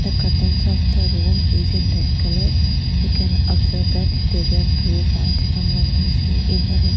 the curtains of the room is in red colour we can observe that there are two fans and one A_C in the room.